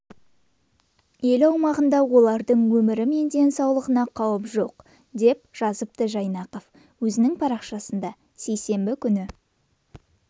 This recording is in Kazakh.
ел аумағында олардың өмірі мен денсаулығына қауіп жоқ деп жазыпты жайнақов өзінің парақшасында сейсенбі күні